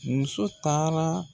Muso taara.